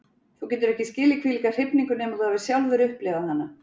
Þú getur ekki skilið þvílíka hrifningu nema þú hafir sjálfur upplifað hana.